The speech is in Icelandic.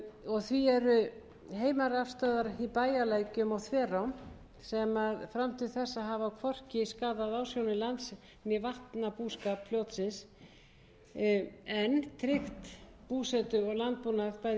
og því er að heimarafstöðvar í bæjarlækjum og þverám hafa fram til þessa hvorki skaðað ásjónu lands né vatnabúskap fljótsins en tryggt búsetu og landbúnað bæði í